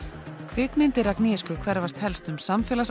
kvikmyndir hverfast helst um